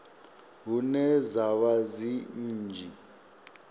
hune dza vha dzi nnzhisa